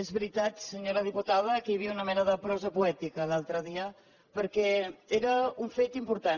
és veritat senyora diputada que hi havia una mena de prosa poètica l’altre dia perquè era un fet important